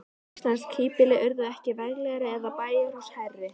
Íslensk híbýli urðu ekki veglegri eða bæjarhús hærri.